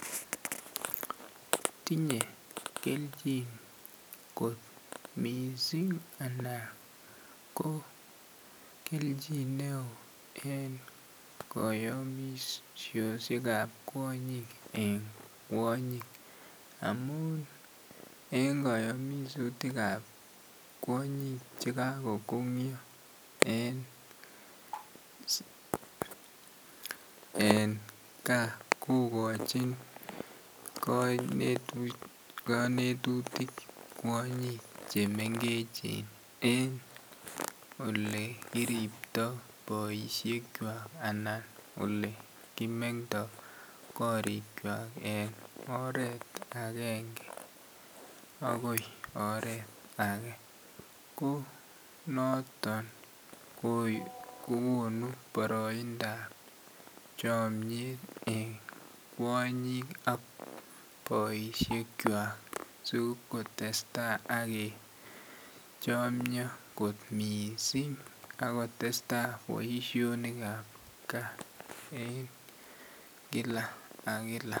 Tinye kelchin neo kot mising anan ko kelchin neo en kayomisosyek ab kwonyik en kwonyik amun en kayomisutik ab kwonyik Che kagongyo en gaa kogochin kanetutik kwonyik Che mengechen en Ole kiriptoi boisiek kwak anan Ole kimengkto korikwak en oret agenge agoi oret age ko noton kogonu boroindap chomiet en kwonyik ak boisiek kwak asi kotestai kechomyo kot mising ako testai boisionik ab gaa en kila ak kila